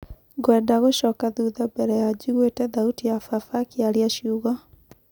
"Ngwenda gũcoka thutha mbere ya njiguĩte thauti ya baba akĩaria ciugo."